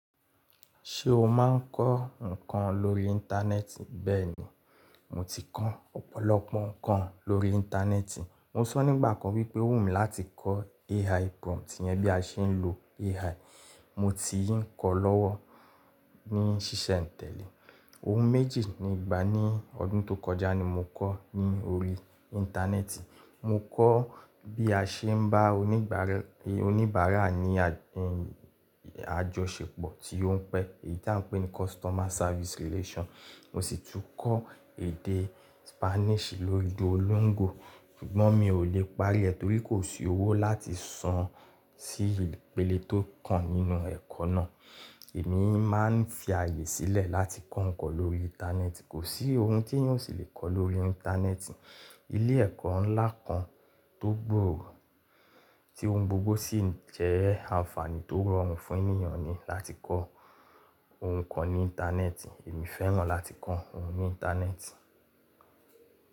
Ṣé o máa ń kọ́ nǹkan lórí Íńtánẹ́ẹ̀tì? Bẹ́ẹ̀ni, mo ti kọ́ ọ̀pọ̀lọpọ̀ nǹkan lórí Íńtánẹ́ẹ̀tì. Mo sọ nígbà kan wípé ó wù mí láti kọ́ AI prompt yẹn bí a ṣe ń lo AI. Mo ti ń kọ́ ọ́ lọ́wọ́ ní sísẹ̀ n tẹ́lẹ̀. Ohun méjì nígbà ní ọdún tó kọjá ni mo kọ́ ní orí Íńtánẹ́ẹ̀tì. Mo kọ́ bí a ṣe ń bá oníbàárà ní àjọṣepọ̀ tí ó ń pẹ́, èyí tí à ń pè ní customer service relation. Mo sì tún kọ́ èdè Spanish lórí Duolingo. Ṣùgbọ́n mi ò lè parí ẹ̀ torí kò sí owó láti san sí ìpele tó kàn nínú ẹ̀kọ́ náà. Èmi máa ń fi àyè sílẹ̀ láti kọ́ nǹkan lórí Íńtánẹ́ẹ̀tì. Kò sí ohun tí èèyàn ò sì lè kọ́ lórí Íńtánẹ́ẹ̀tì. Ilé ẹ̀kọ́ ńlá kan tó gbòòrò tí ohun gbogbo sì jẹ́ àǹfààní tó rọrùn fún ènìyàn ni láti kọ́ ohun kan ní Íńtánẹ́ẹ̀tì. Èmi fẹ́ràn láti kọ́ ohun ní Íńtánẹ́ẹ̀tì.